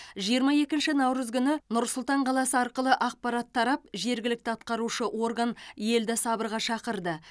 жиырма екініш наурыз күні нұр сұлтан қаласы арқылы ақпарат тарап жергілікті атқарушы орган елді сабырға шақырды